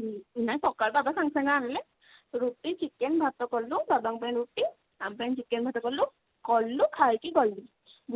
ହୁଁ ନାଇଁ ସକାଳୁ ବାବା ସାଙ୍ଗେ ସାଙ୍ଗେ ଆଣିଲେ ରୁଟି chicken ଭାତ କଲୁ ବାବା ଙ୍କ ପାଇଁ ରୁଟି ଆମ ପାଇଁ chicken ଭାତ କଲୁ କଲୁ ଖାଇକି ଗଲୁ।